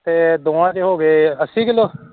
ਤੇ ਦੋਹਾਂ ਚ ਹੋ ਗਏ ਅੱਸੀ kilo